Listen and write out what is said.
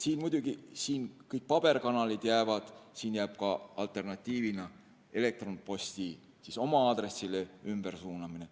Siin muidugi kõik paberkandjal jäävad ja jääb ka alternatiivina elektronposti oma aadressile ümbersuunamine.